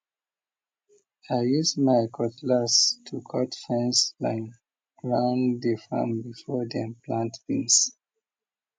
i use my cutlass to cut fence line round the farm before dem plant beans